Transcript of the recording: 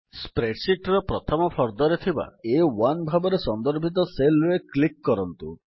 Spreadsheetର ପ୍ରଥମ ଫର୍ଦ୍ଦରେ ଥିବା ଆ1 ଭାବରେ ସନ୍ଦର୍ଭିତ cellରେ କ୍ଲିକ୍ କରନ୍ତୁ